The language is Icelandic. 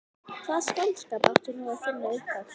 Hvaða skáldskap átti nú að finna upp á?